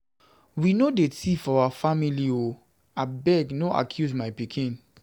Wey no dey tif for we family o, abeg no accuse my pikin.